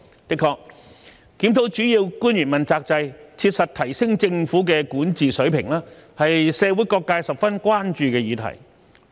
的確，檢討主要官員問責制，切實提升政府的治理水平，是社會各界十分關注的議題。